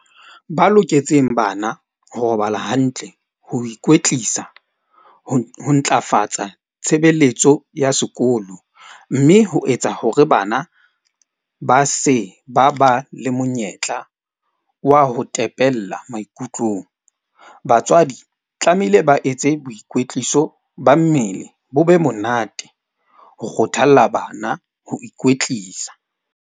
Ba loketseng bana ho robala hantle, ho ikwetlisa, ho ntlafatsa tshebeletso ya sekolo. Mme ho etsa hore bana ba se ba ba le monyetla wa ho tepella maikutlong. Batswadi tlamehile ba etse boikwetliso ba mmele ho be monate. Ho kgothalla bana ho ikwetlisa.